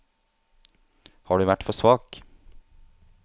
Har du vært for svak?